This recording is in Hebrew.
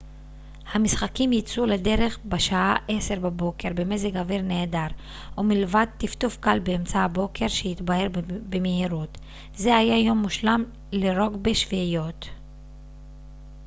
המשחקים יצאו לדרך בשעה 10:00 בבוקר במזג אוויר נהדר ומלבד טפטוף קל באמצע הבוקר שהתבהר במהירות זה היה יום מושלם לרוגבי שביעיות